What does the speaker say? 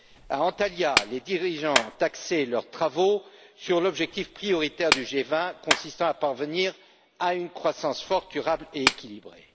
À Antalya, les dirigeants ont axé leurs travaux sur l'objectif prioritaire du G20 consistant à parvenir à une croissance forte, durable et équilibrée.